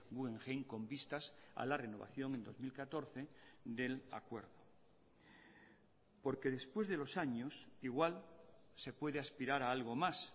guggenheim con vistas a la renovación en dos mil catorce del acuerdo porque después de los años igual se puede aspirar a algo más